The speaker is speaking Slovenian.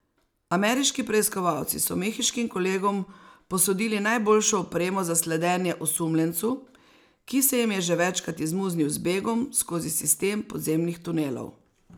Ameriški preiskovalci so mehiškim kolegom posodili najboljšo opremo za sledenje osumljencu, ki se jim je že večkrat izmuznil z begom skozi sistem podzemnih tunelov.